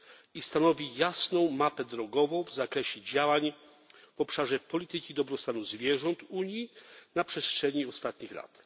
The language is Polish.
i stanowi jasną mapę drogową w zakresie działań w obszarze polityki dobrostanu zwierząt Unii na przestrzeni ostatnich lat.